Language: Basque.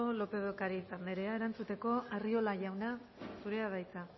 lópez de ocariz andrea erantzuteko arriola jauna zurea da hitza